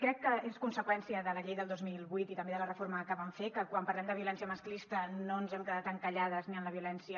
crec que és conseqüència de la llei del dos mil vuit i també de la reforma que en vam fer que quan parlem de violència masclista no ens hem quedat encallades ni en la violència